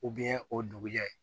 o dugujɛ